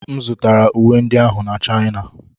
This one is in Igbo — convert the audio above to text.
M zụtara uwe ndị ahụ na China.